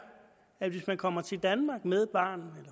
at hvis man kommer til danmark med barn